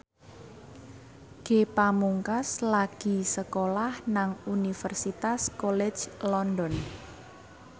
Ge Pamungkas lagi sekolah nang Universitas College London